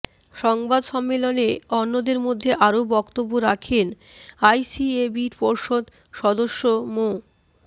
সংবাদ সম্মেলনে অন্যদের মধ্যে আরো বক্তব্য রাখেন আইসিএবির পর্ষদ সদস্য মো